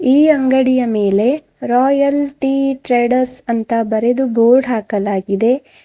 ಈ ಅಂಗಡಿಯ ಮೇಲೆ ರಾಯಲ್ ಟಿ ಟ್ರೇಡರ್ಸ್ ಅಂತ ಬರೆದು ಬೋರ್ಡ್ ಹಾಕಲಾಗಿದೆ.